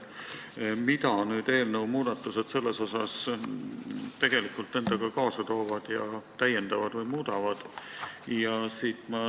Mida eelnõu muudatused nüüd selles endaga kaasa toovad või täiendavad?